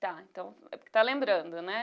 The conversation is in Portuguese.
Tá, então tá lembrando, né?